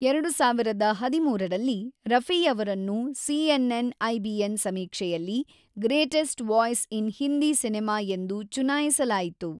೨೦೧೩ರಲ್ಲಿ, ರಫಿಯವರನ್ನು ಸಿಎನ್ಎನ್-ಐಬಿಎನ್ ಸಮೀಕ್ಷೆಯಲ್ಲಿ greatest voice in Hindi cinema ಎಂದು ಚುನಾಯಿಸಲಾಯಿತು.